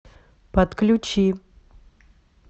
подключи